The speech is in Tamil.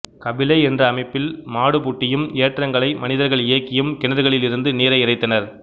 கபிலை என்ற அமைப்பில் மாடுபூட்டியும் ஏற்றங்களை மனிதர்கள் இயக்கியும் கிணறுகளில் இருந்து நீரை இறைத்தனர்